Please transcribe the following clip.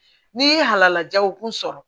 N'i ye halalajaw kun sɔrɔ